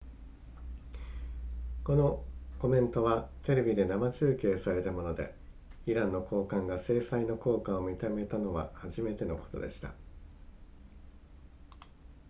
このコメントはテレビで生中継されたものでイランの高官が制裁の効果を認めたのは初めてのことでした